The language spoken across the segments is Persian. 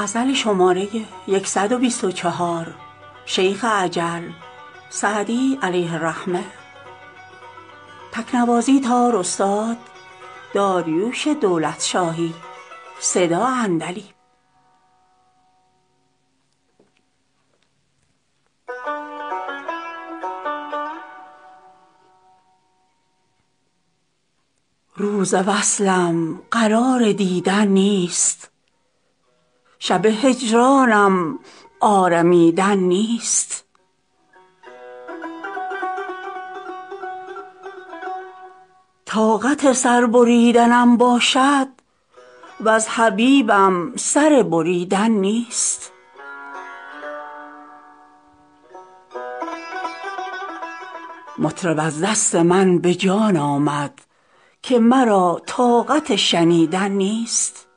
روز وصلم قرار دیدن نیست شب هجرانم آرمیدن نیست طاقت سر بریدنم باشد وز حبیبم سر بریدن نیست مطرب از دست من به جان آمد که مرا طاقت شنیدن نیست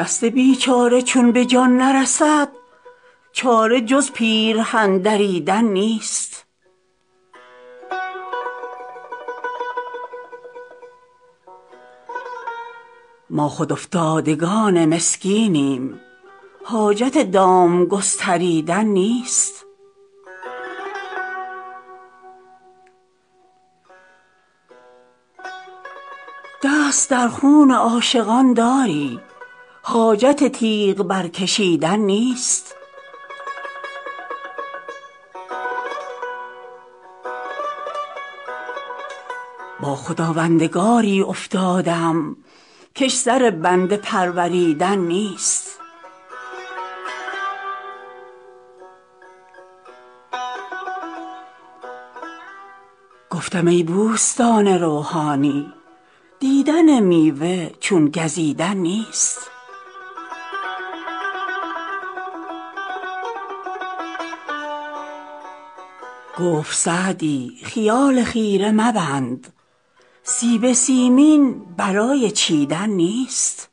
دست بیچاره چون به جان نرسد چاره جز پیرهن دریدن نیست ما خود افتادگان مسکینیم حاجت دام گستریدن نیست دست در خون عاشقان داری حاجت تیغ برکشیدن نیست با خداوندگاری افتادم کش سر بنده پروریدن نیست گفتم ای بوستان روحانی دیدن میوه چون گزیدن نیست گفت سعدی خیال خیره مبند سیب سیمین برای چیدن نیست